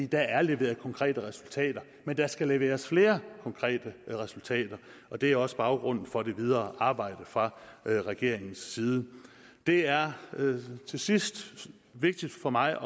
der er leveret konkrete resultater men der skal leveres flere konkrete resultater og det er også baggrunden for det videre arbejde fra regeringens side det er til sidst vigtigt for mig